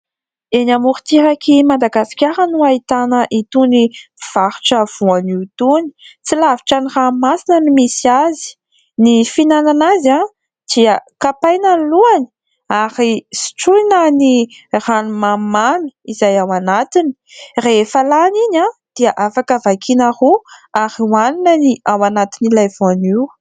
Eny amoron-tsirak'i Madagasikara no ahitana itony mpivarotra voanio itony. Tsy lavitra ny ranomasina no misy azy. Ny fihinana azy dia kapaina ny lohany ary sotroina ny rano mamimamy izay ao anatiny. Rehefa lany iny dia afaka vakiana roa ary hoanina ny ao anantin'ilay voanio.